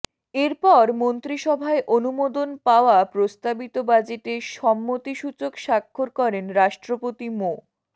এরপর মন্ত্রিসভায় অনুমোদন পাওয়া প্রস্তাবিত বাজেটে সম্মতিসূচক স্বাক্ষর করেন রাষ্ট্রপতি মো